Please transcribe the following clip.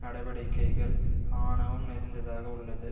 நடவடிக்கைகள் ஆணவம் நிறைந்ததாக உள்ளது